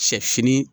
Sɛ fini